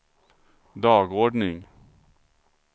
dagordning